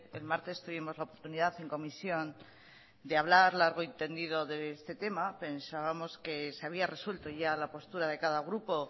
el martes tuvimos la oportunidad en comisión de hablar largo y tendido de este tema pensábamos que se había resuelto ya la postura de cada grupo